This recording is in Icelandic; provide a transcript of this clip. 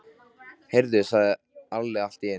Heyrðu, sagði Alli allt í einu.